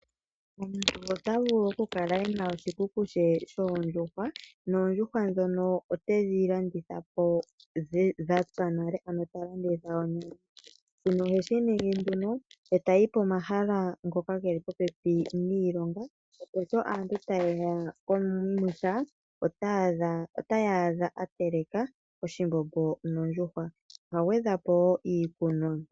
Omuntu ota vulu oku kala e na oshikuku she shoondjuhwa, noondjuhwa ndhono otedhi landitha po dhatsa nale, ano talanditha oonyama. Shino oheshi ningi tayi pomahala galwe ngoka ge li popepi niilonga opo aantu sho taye ya pomwiha otaya adha a teleka oshimbombo noondjuhwa. Oha gwedhwa po wo iikunwa.